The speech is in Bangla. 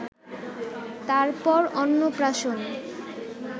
তার পর অন্নপ্রাশন